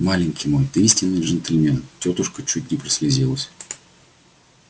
маленький мой ты истинный джентльмен тётушка чуть не прослезилась